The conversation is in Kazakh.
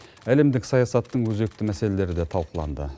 әлемдік саясаттың өзекті мәселелері де талқыланды